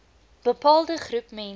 bepaalde groep mense